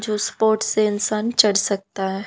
जो spot sensation चढ़ सकता है।